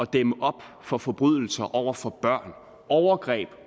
dæmme op for forbrydelser over for børn overgreb